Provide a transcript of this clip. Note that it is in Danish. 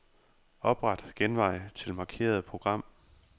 Opret genvej til markerede program.